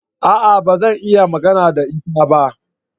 A'a! Ba zan iya magana da ita ba.